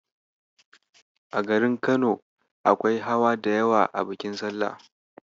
A garin Kano, akwai hawa da yawa a bikin salla.